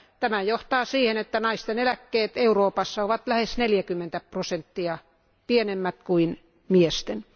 Tämä johtaa siihen, että naisten eläkkeet Euroopassa ovat lähes 40 prosenttia pienemmät kuin miesten.